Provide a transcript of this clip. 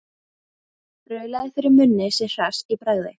Raulaði fyrir munni sér hress í bragði.